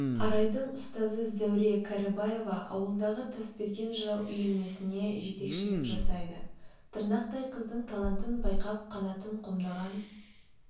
арайдың ұстазы зәуре кәрібаева ауылдағы тасберген жырау үйірмесіне жетекшілік жасайды тырнақтай қыздың талантын байқап қанатын қомдаған